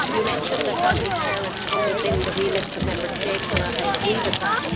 You mentioned that family carers come within the remit of the Member States, and I agree with that.